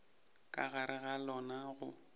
ka gare ga lona go